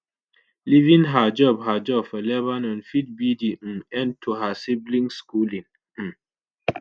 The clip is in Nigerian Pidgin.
leaving her job her job for lebanon fit be di um end to her siblings’ schooling. um